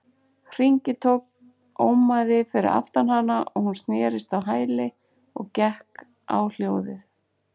hringitónn ómaði fyrir aftan hana og hún snerist á hæli og gekk á hljóðið.